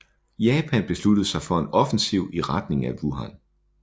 Japan besluttede sig for en offensiv i retning af Wuhan